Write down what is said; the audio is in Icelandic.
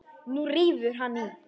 Og nú rífur hann í.